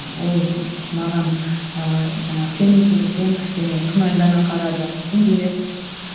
ол маған ыыы жаңағы сенімсіздікпен кішкене күмәндана қарады үндемеді